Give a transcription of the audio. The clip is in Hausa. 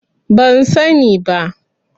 Ban sani ba.